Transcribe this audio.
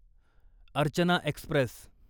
Archana Express